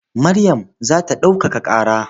Maryam za ta ɗaukaka ƙara.